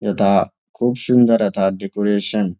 যথা খুব সুন্দর যথা ডেকোরেশন ।